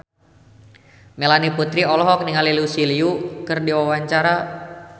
Melanie Putri olohok ningali Lucy Liu keur diwawancara